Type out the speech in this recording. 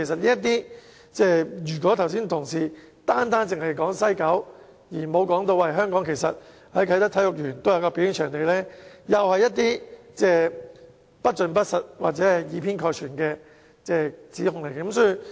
如果同事剛才單說西九文化區，而不提及啟德體育園的表演場地，同樣是作了不盡不實或以偏概全的指控。